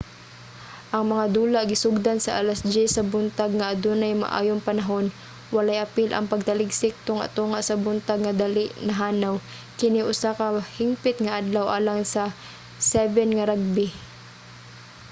ang mga dula gisugdan sa alas 10:00 sa buntag nga adunay maayong panahon walay apil ang pagtaligsik tunga-tunga sa buntag nga dali nahanaw kini usa ka hingpit nga adlaw alang sa 7 nga rugby